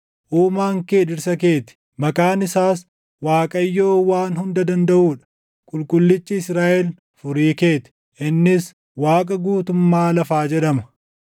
Uumaan kee dhirsa keeti; maqaan isaas Waaqayyoo Waan Hunda Dandaʼuu dha; Qulqullichi Israaʼel Furii kee ti; innis Waaqa guutummaa lafaa jedhama.